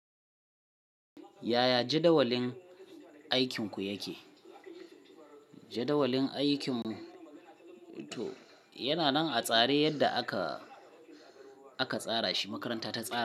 Yaya jadawalin aikinku yake? Jadawalin aikin mu to yana nan a tsare yadda aka, aka tsara shi. Makaranta ta tsara.